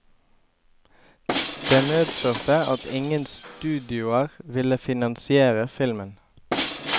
Det medførte at ingen studioer ville finansiere filmen.